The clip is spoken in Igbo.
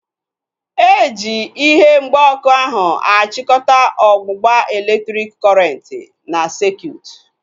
Eji ihe mgba ọkụ ahu achikọta ọgbụgba elektriki kọrenti n'sekutu